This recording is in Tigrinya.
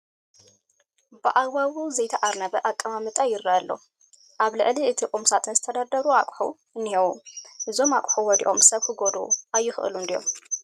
ብኣግባቡ ዘይተኣርነበ ኣቀማምጣ ይርአ ኣሎ፡፡ ኣብ ልዕሊ እቲ ቁም ሳጥን ዝተደርደሩ ኣቑሑ እኔህዉ፡፡ እዞም ኣቑሑ ወዲቖም ሰብ ክጐድኡ ኣይኽእሉን ድዮም?